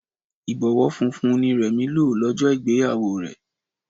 Ìbọwọ́ funfun ni Remi lò lọ́jọ́ ìgbéyàwó rẹ̀